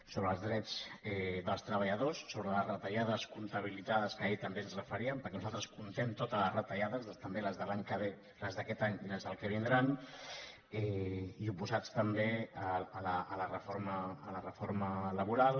sobre els drets dels treballadors sobre les retallades comptabilitzades a les quals ahir també ens referíem perquè nosaltres comptem totes les retallades també les de l’any que ve les d’aquest any i les del que vin·drà i oposats també a la reforma laboral